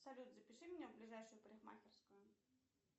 салют запиши меня в ближайшую парикмахерскую